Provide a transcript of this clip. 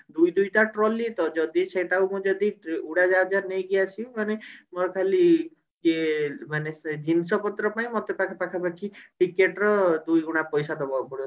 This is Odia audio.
ଦୁଇ ଦୁଇ ଟା trolley ତ ଯଦି ସେଟା କୁ ମୁଁ ଯଦି ଟ୍ରେ ଉଡାଜାହାଜ ରେ ନେଇକି ଆସିବି ମାନେ ମୋର ଖାଲି ଯେ ମାନେ ସେ ଜିନିଷ ପତ୍ର ପାଇଁ ମତେ ପାଖାପାଖି ticket ର ଦୁଇଗୁଣା ପଇସା ଦବାକୁ ପଡିବ